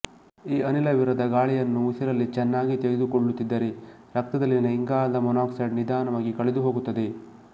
ಈ ಅನಿಲವಿರದ ಗಾಳಿಯನ್ನು ಉಸಿರಲ್ಲಿ ಚೆನ್ನಾಗಿ ತೆಗೆದುಕೊಳ್ಳುತ್ತಿದ್ದರೆ ರಕ್ತದಲ್ಲಿನ ಇಂಗಾಲದ ಮಾನಾಕ್ಸೈಡ್ ನಿಧಾನವಾಗಿ ಕಳೆದುಹೋಗುತ್ತದೆ